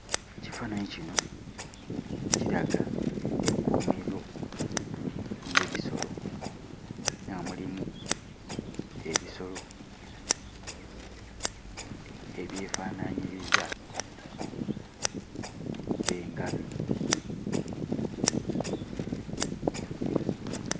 Ekifaananyi kino kiraga ekkuumiro ly'ebisolo era nga mulimu ebisolo ebyefaanaanyiriza engabi.